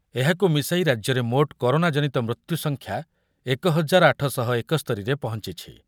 ଏହାକୁ ମିଶାଇ ରାଜ୍ୟର ମୋଟ୍ କରୋନାଜନିତ ମୃତ୍ୟୁସଂଖ୍ୟା ଏକ ହଜାର ଆଠଶହ ଏକସ୍ତରୀରେ ପହଞ୍ଚିଛି।